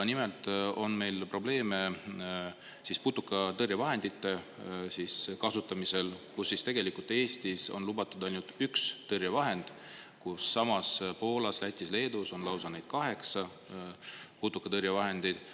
Nimelt on meil probleeme putukatõrjevahendite kasutamisel, kus tegelikult Eestis on lubatud ainult üks tõrjevahend, kui samas Poolas, Lätis, Leedus on lausa neid kaheksa, putukatõrjevahendeid.